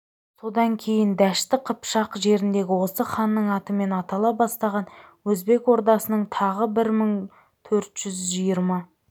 содан кейін дәшті қыпшақ жеріндегі осы ханның атымен атала бастаған өзбек ордасының тағына бір мың төрт жүз жиырма